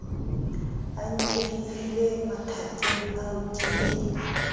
a nkehile mathakeng ao ke